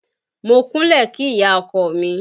Mo kúnlẹ̀ kí ìyá ọkọ mi